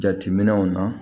Jateminɛw na